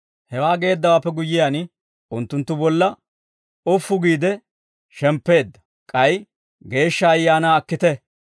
Hewaa geeddawaappe guyyiyaan, unttunttu bolla ufu giide shemppeedda; k'ay, «Geeshsha Ayaanaa akkite.